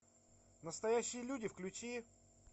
настоящие люди включи